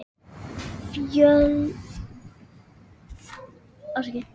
Takk fyrir allt, kæri bróðir.